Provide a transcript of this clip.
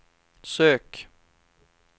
sök